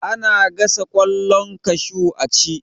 Ana gasa ƙwallon kashu a ci